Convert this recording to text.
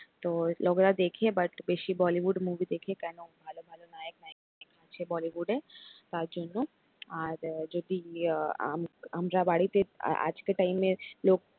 তো লোকেরা দেখে but বেশি bollywood movie দেখে কেন ভালো ভালো নায়ক নায়িকা আছে bollywood তার জন্য আর যদি আম আমরা বাড়িতে আজকের time এ লোক